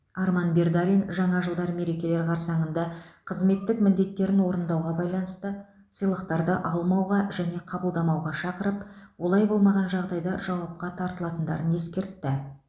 арман бердалин жаңа жылдар мерекелер қарсаңында қызметтік міндеттерін орындауға байланысты сыйлықтарды алмауға және қабылдамауға шақырып олай болмаған жағдайда жауапқа тартылатындарын ескертті